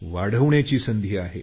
वाढवण्याची संधी आहे